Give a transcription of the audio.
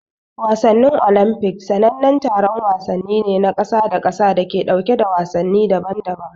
Wasannin Olimpiks sanannen taron wasanni ne na kasa da kasa da ke ɗauke da wasanni daban-daban.